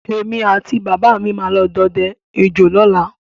Èmi àti bàbà mi máa lọ dọdẹ ejò lọ́la